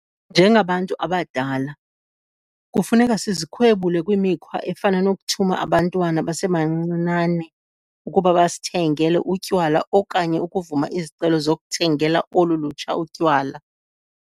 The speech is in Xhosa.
Njengabantu abadala, kufuneka sizikhwebule kwimikhwa efana nokuthuma abantwana abasebancinane ukuba basithengele utywala okanye ukuvuma izicelo zokuthengela olu lutsha utywala.